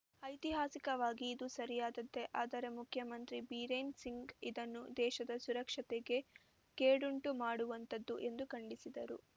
ಐತಿಹಾಸಿಕವಾಗಿ ಇದು ಸರಿಯಾದದ್ದೇ ಆದರೆ ಮುಖ್ಯಮಂತ್ರಿ ಬಿರೇನ್‌ ಸಿಂಗ್‌ ಇದನ್ನು ದೇಶದ ಸುರಕ್ಷತೆಗೆ ಕೇಡುಂಟುಮಾಡುವಂಥದ್ದು ಎಂದು ಖಂಡಿಸಿದರು